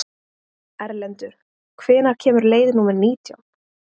Erlendur, hvenær kemur leið númer nítján?